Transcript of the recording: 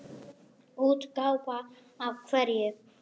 Útgáfu af hverju?